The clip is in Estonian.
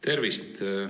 Tervist!